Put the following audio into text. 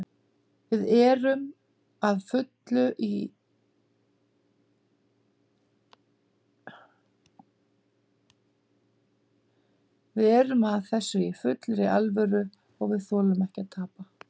Við erum að þessu í fullri alvöru og við þolum ekki að tapa.